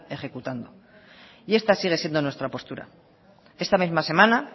ejecutando y esta sigue siendo nuestra postura esta misma semana